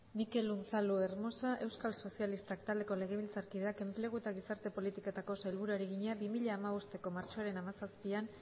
mikel unzalu hermosa euskal sozialistak taldeko legebiltzarkideak enplegu eta gizarte politiketako sailburuari egina bi mila hamabosteko martxoaren hamazazpian